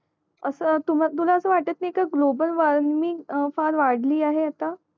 असं तूं तुला असं वाटत नाही का ग्लोबल वॉर्मिंग वादळी आहे आता